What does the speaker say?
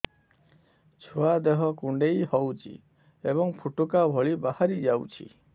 ଛୁଆ ଦେହ କୁଣ୍ଡେଇ ହଉଛି ଏବଂ ଫୁଟୁକା ଭଳି ବାହାରିଯାଉଛି